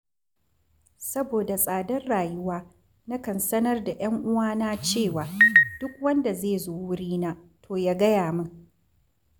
Saboda tsadar rayuwa, nakan sanar da ‘yan uwana cewa, duk wanda zai zo wurina, to ya gaya min